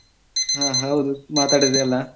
ಹ ಹೌದು ಮಾತಾಡದೆ ಅಲಾ?